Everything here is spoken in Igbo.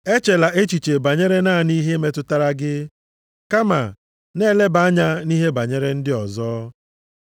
Echela echiche banyere naanị ihe metụtara gị, kama, na-eleba anya nʼihe banyere ndị ọzọ.